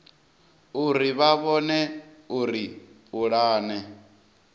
uri vha vhone uri pulane